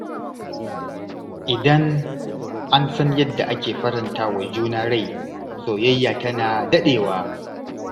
Idan an san yadda ake faranta wa juna rai, soyayya tana daɗewa.